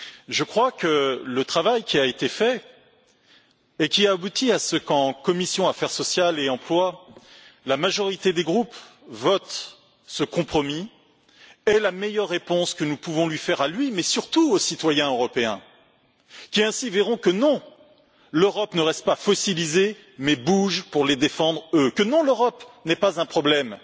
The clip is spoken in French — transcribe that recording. Je crois que le travail qui a été fait et qui a abouti à ce qu'en commission affaires sociales et emploi, la majorité des groupes votent ce compromis est la meilleure réponse que nous pouvons lui faire à lui, mais surtout aux citoyens européens qui ainsi verront que l'Europe ne reste pas fossilisée, mais bouge pour les défendre, eux, que l'Europe n'est pas un problème,